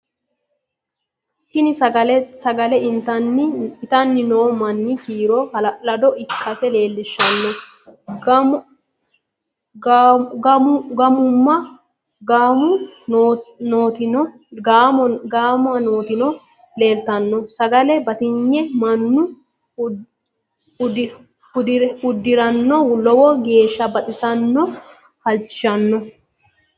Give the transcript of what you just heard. tini sagale itanni noo manni kiiro hala'lado ikkasi leellishanno gafumma nootino leelitanno sagale batinyete mannu udirano lowo geesha baxissanno halchishshanno